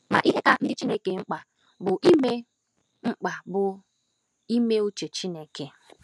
Ma ihe ka ndị Chineke mkpa bụ ime mkpa bụ ime uche Chineke